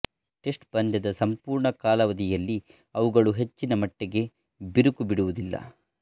test ಪಂದ್ಯದ ಸಂಪೂರ್ಣ ಕಾಲಾವಧಿಯಲ್ಲಿ ಅವುಗಳು ಹೆಚ್ಚಿನ ಮಟ್ಟಿಗೆ ಬಿರುಕು ಬಿಡುವುದಿಲ್ಲ